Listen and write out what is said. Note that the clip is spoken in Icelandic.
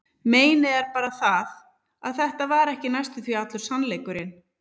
Meinið er bara það, að þetta var ekki næstum því allur sannleikurinn.